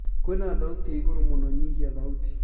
kwĩna thaũtĩ ĩĩ ĩgũrũ mũno nyĩhĩa thaũtĩ